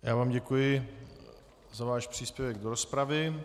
Já vám děkuji za váš příspěvek do rozpravy.